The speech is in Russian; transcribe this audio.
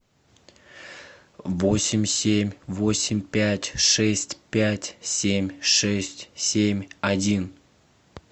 восемь семь восемь пять шесть пять семь шесть семь один